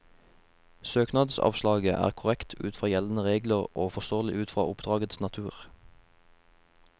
Søknadsavslaget er korrekt ut fra gjeldende regler og forståelig ut fra oppdragets natur.